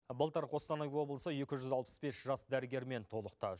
былтыр қостанай облысы екі жүз алпыс бес жас дәрігермен толықты